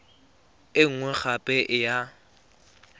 e nngwe gape e ya